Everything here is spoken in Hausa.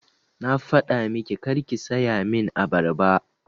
Na faɗa miki karki saya min abarba!